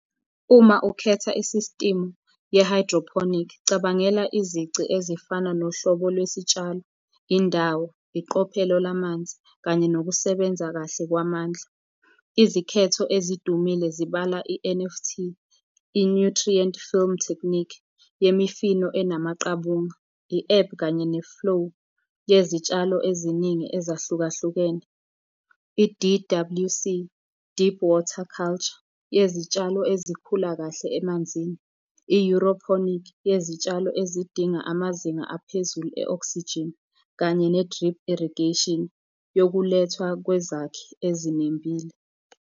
Uma ukhetha i-system ye-hydroponic, cabangela izici ezifana nohlobo lwesitshalo, indawo, iqophelo lamanzi kanye nokusebenza kahle kwamandla. Izikhetho ezidumile zibala i-N_F_T, i-Nutrient Film Technique yemifino enamaqabunga, i-ebb kanye ne-flow yezitshalo eziningi ezahlukahlukene. I-D_W_C, Deep Water Culture, yezitshalo ezikhula kahle emanzini. yezitshalo ezidinga amazinga aphezulu e-oxygen, kanye ne-drip irrigation, yokulethwa kwezakhi ezinembile.